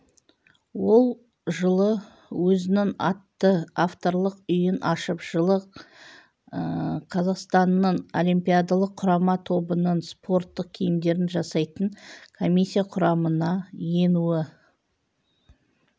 ол жылы өзінің атты авторлық үйін ашып жылы қазақстанның олимпиадалық құрама тобының спорттық киімдерін жасайтын комиссия құрамына енуі